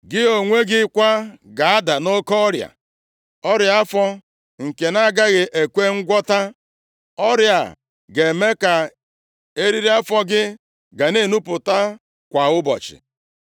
Gị onwe gị kwa ga-ada nʼoke ọrịa, ọrịa afọ nke na-agaghị ekwe ngwọta. Ọrịa a ga-eme ka eriri afọ gị na-enupụta kwa ụbọchị.’ ”